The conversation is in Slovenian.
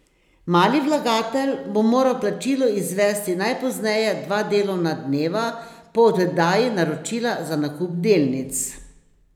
Mali vlagatelj bo moral plačilo izvesti najpozneje dva delovna dneva po oddaji naročila za nakup delnic.